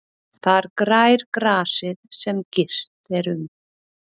Þar grær grasið sem girt er um.